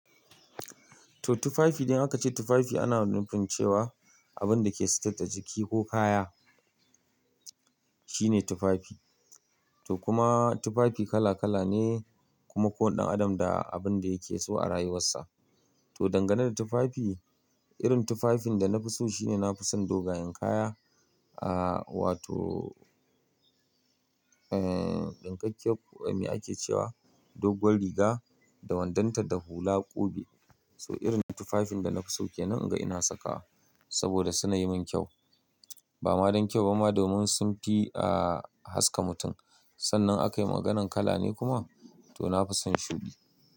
To tufafi idan aka ce tufafi ana nufin cewa abun da ke sater da jiki ko kaya shine tufafi. To kuma tufafi kala kala ne, kuma ko wanda adam da abun da yake so a rayuwarsa. To dangane da tufafi, irin tufafin da na fi so shine nafi son dogayen kaya, ahhh wato ehhh ɗinkakkiyar me ake cewa doguwar riga da wandonta da hula ƙube. So irin tufafin da na fi sauke nan ga ina saka saboda suna yi min kyau. Ba ma don kyau ba ma domin sun fi ahhh haska mutum. Sannan akayi maganan kala ne kuma to nafi son shuɗi.